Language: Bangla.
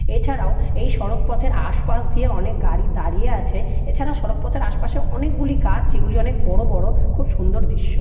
এছাড়াও এই সড়ক পথের আশপাশ দিয়ে অনেক গাড়ি দাঁড়িয়ে আছে। এছাড়াও সড়ক পথের আশপাশে অনেকগুলি গাছ যেগুলি অনেক বড় বড় খুব সুন্দর দৃশ্য ।